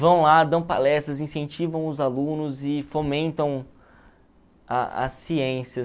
Vão lá, dão palestras, incentivam os alunos e fomentam a a ciência.